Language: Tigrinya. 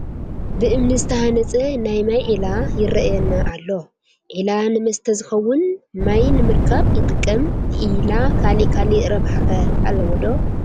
ብእምኒ ዝተሃነፀ ናይ ማይ ዒላ ይርአየና ኣሎ፡፡ ዒላ ንመስተ ዝኸውን ማይ ንምርካብ ይጠቅም፡፡ ዒላ ካልእ ካልእ ርብሓ ኸ ኣለዎ ዶ?